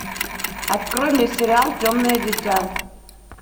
открой мне сериал темное дитя